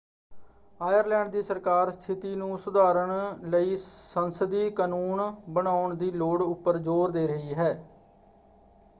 Ireland ਦੀ ਸਰਕਾਰ ਸਥਿਤੀ ਨੂੰ ਸੁਧਾਰਨ ਲਈ ਸੰਸਦੀ ਕਾਨੂੰਨ ਬਣਾਉਣ ਦੀ ਲੋੜ ਉੱਪਰ ਜ਼ੋਰ ਦੇ ਰਹੀ ਹੈ।